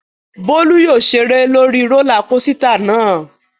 Bólú yóò ṣeré lórí rólá kosità náà.